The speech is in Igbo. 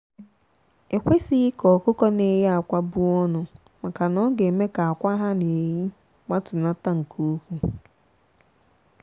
ekwesighi ka ọkụkọ na eye akwa buọnụ maka na ọ ga eme ka akwa ha na eye gbatunata nke ukwu.